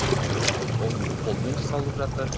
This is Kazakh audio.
ыыы ол қолмен жасалып жатыр